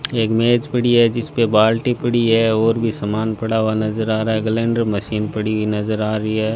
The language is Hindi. एक मेज पड़ी है जिसपे बाल्टी पड़ी है और भी सामान पड़ा हुआ नजर आ रहा है गलेंडर मशीन पड़ी हुई नजर आ रही है।